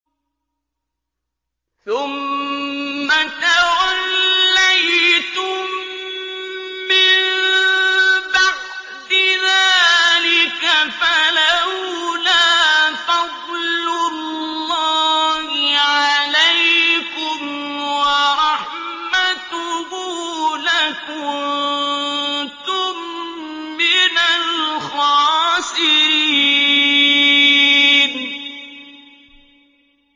ثُمَّ تَوَلَّيْتُم مِّن بَعْدِ ذَٰلِكَ ۖ فَلَوْلَا فَضْلُ اللَّهِ عَلَيْكُمْ وَرَحْمَتُهُ لَكُنتُم مِّنَ الْخَاسِرِينَ